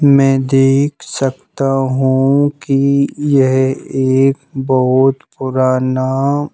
मैं देख सकता हूँ कि यह एक बहुत पुराना--